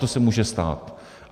To se může stát.